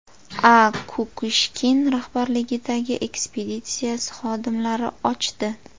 A. Kukushkin rahbarligidagi ekspeditsiyasi xodimlari ochdi.